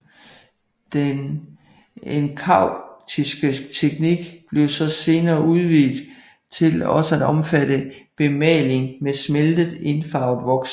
Den enkaustiske teknik blev så senere udvidet til også at omfatte bemaling med smeltet indfarvet voks